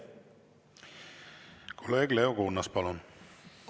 Kolleeg Leo Kunnas, palun!